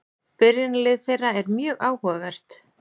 Byrjunarlið þeirra er mjög áhugavert.